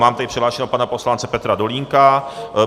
Mám tady přihlášeného pana poslance Petra Dolínka.